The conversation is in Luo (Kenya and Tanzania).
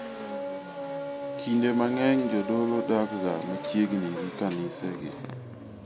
Kinde mang'eny jodolo dakga machiegni gi kanisegi.